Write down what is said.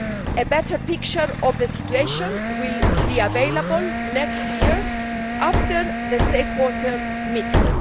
A better picture of the situation will be available next year after the stakeholder meeting.